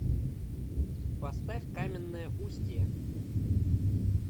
поставь каменное устье